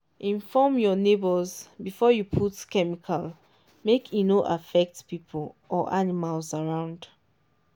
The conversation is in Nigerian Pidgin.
inform your neighbours before you put plenty chemical make e no affect people or animals around.